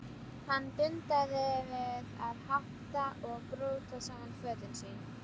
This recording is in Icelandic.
Hann dundaði við að hátta og brjóta saman fötin sín.